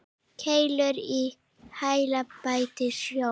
Keilur í heila bæta sjón.